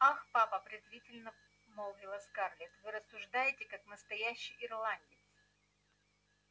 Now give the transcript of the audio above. ах папа презрительно молвила скарлетт вы рассуждаете как настоящий ирландец